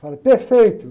perfeito.